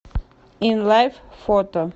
инлайф фото